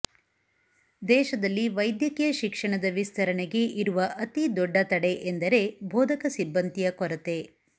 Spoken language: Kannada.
ದೇಶದಲ್ಲಿ ವೈದ್ಯಕೀಯ ಶಿಕ್ಷಣದ ವಿಸ್ತರಣೆಗೆ ಇರುವ ಅತಿದೊಡ್ಡ ತಡೆ ಎಂದರೆ ಬೋಧಕ ಸಿಬ್ಬಂದಿಯ ಕೊರತೆ